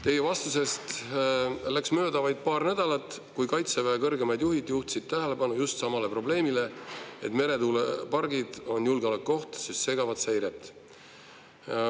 " Teie vastusest läks mööda vaid paar nädalat, kui Kaitseväe kõrgemad juhid juhtisid tähelepanu just samale probleemile, et meretuulepargid on julgeolekuoht, sest need segavat seiret.